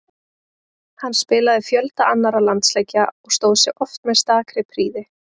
Hann spilaði fjölda annarra landsleikja og stóð sig oft með stakri prýði.